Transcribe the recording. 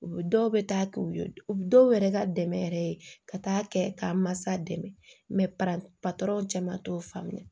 U dɔw bɛ taa u u dɔw yɛrɛ ka dɛmɛ yɛrɛ ka taa kɛ k'a mansa dɛmɛ cɛ man t'o faamuya